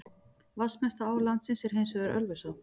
Vatnsmesta á landsins er hins vegar Ölfusá.